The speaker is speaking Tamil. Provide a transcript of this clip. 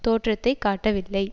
தோற்றத்தை காட்டவில்லை